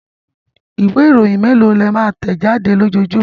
Ìwé-ìròyìn mélòó ni ẹ máa ń tẹ̀ jáde lójoojúmọ́?